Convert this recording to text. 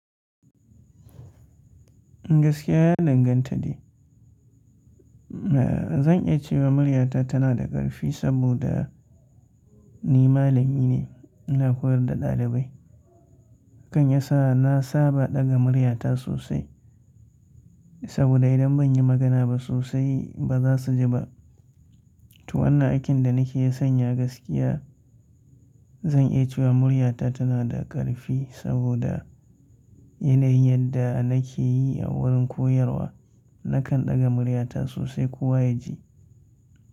Gaskiya ya danganta ne. Zan iya cewa murya ta tana da ƙarfi saboda ni malami ne, ina koyar da ɗalibai. Hakan ya sa na saba ɗaga murya ta sosai. Saboda idan ban yi magana ba sosai ba za su ji ba. To wannan aikin da nake sanya gaskiya, zan iya cewa murya ta tana da ƙarfi saboda yanayin yadda nake yi a wurin koyarwa nakan ɗaga murya ta sosai kowa ya ji.